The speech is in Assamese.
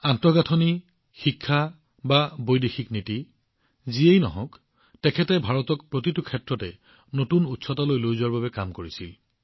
আন্তঃগাঁথনি শিক্ষা বা বৈদেশিক নীতিয়েই হওঁক তেওঁ ভাৰতক প্ৰতিটো ক্ষেত্ৰতে নতুন উচ্চতালৈ লৈ যোৱাৰ চেষ্টা কৰিছিল